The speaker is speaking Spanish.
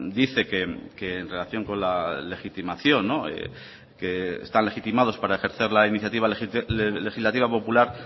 dice que en relación con la legitimación que están legitimados para ejercer la iniciativa legislativa popular